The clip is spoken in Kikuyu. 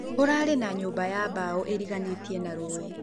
Kũrarĩ na nyũba ya bao ĩrĩganĩtĩe na rũĩ.